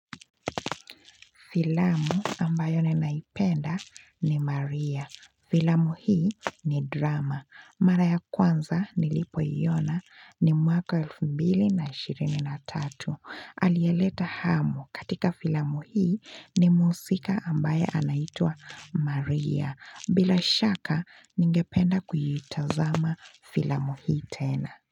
Filamu ambayo ninaipenda ni Maria. Filamu hii ni drama. Mara ya kwanza nilipoiona ni mwaka 2023. Alieleta hamu katika filamu hii ni mhusika ambaye anaitwa Maria. Bila shaka ningependa kuitazama filamu hii tena.